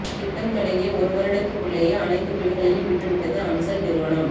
திட்டம் தொடங்கிய ஒரு வருடத்துக்குள்ளேயே அனைத்து வீடுகளையும் விற்று விட்டது அன்சல் நிறுவனம்